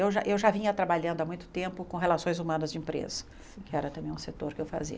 Eu já eu já vinha trabalhando há muito tempo com relações humanas de empresa, que era também um setor que eu fazia.